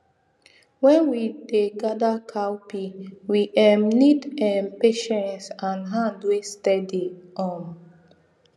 when we de gather cowpea we um need um patience and hand wey steady um